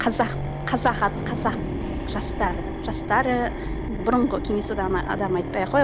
қазақ жастары жастары енді бұрынғы кеңес одағының адамын айтпай ақ қояйық